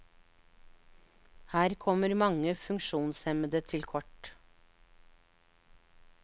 Her kommer mange funksjonshemmede til kort.